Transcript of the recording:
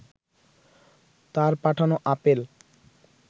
তাঁর পাঠানো আপেল